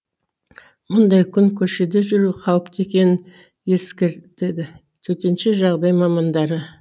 мұндай күн көшеде жүру қауіпті екенін ескертеді төтенше жағдай мамандары